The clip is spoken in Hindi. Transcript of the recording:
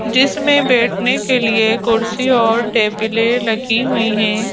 जिसमें बैठने के लिए कुर्सी और टेबलें रखी हुई हैं।